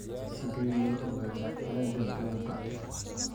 Sidee loo ogaadaa cillada buuga?